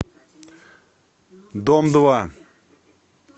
дом два